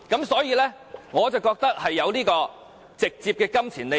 所以，我覺得他有直接金錢利益。